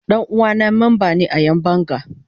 Dan uwana memba ne a Yan banga.